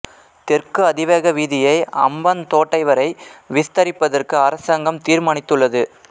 தெற்கு அதிவேக வீதியை அம்பாந்தோட்டை வரை விஸ்தரிப்பபதற்கு அரசாங்கம் தீர்மானித்துள்ளது